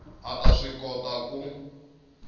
a ta swi kota ku